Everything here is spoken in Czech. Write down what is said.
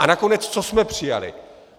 A nakonec, co jsme přijali?